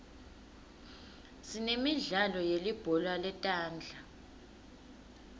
sinemidlalo yelibhola letandla